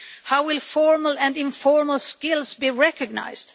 How will formal and informal skills be recognised?